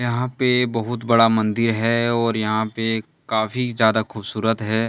यहां पे बहुत बड़ा मंदिर है और यहां पे काफी ज्यादा खूबसूरत है।